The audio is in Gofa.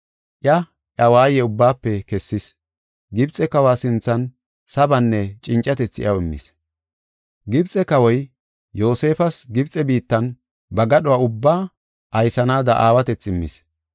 Iya, iya waaye ubbaafe kessis. Gibxe kawa sinthan sabanne cincatethi iyaw immis. Gibxe kawoy Yoosefas Gibxe biittanne ba gadhuwa ubbaa aysanaada aawatethi immis.